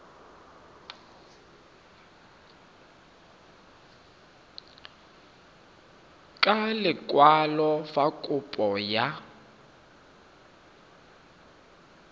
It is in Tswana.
ka lekwalo fa kopo ya